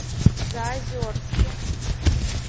заозерске